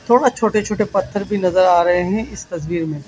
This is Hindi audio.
बहोत छोटे छोटे पत्थर भी नजर आ रहे हैं इस तस्वीर में।